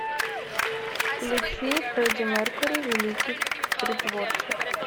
включи фредди меркьюри великий притворщик